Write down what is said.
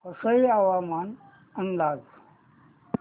वसई हवामान अंदाज